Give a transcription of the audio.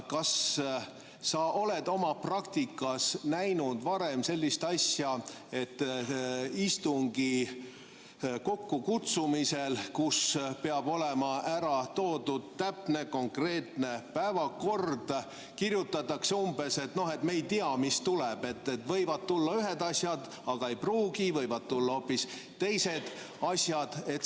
Kas sa oled oma praktikas näinud varem sellist asja, et istungi kokkukutsumisel, kus peab olema ära toodud täpne konkreetne päevakord, kirjutatakse umbes nii, et me ei tea, mis tuleb, võivad tulla ühed asjad, aga ei pruugi, võivad tulla hoopis teised asjad.